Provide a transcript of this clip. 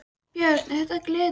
Björn: Er þetta gleðidagur?